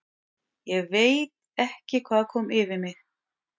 ÉG VEIT ekki hvað kom yfir mig.